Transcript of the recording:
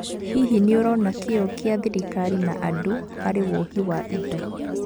Hihi nĩũrona kĩyo gĩa thirikari na andũ harĩ wohi wa indo.